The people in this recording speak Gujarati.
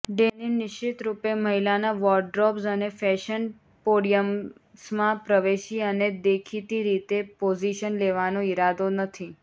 ડેનિમ નિશ્ચિતરૂપે મહિલાના વોરડ્રોબ્સ અને ફેશન પોડિયમ્સમાં પ્રવેશી અને દેખીતી રીતે પોઝિશન લેવાનો ઈરાદો નથી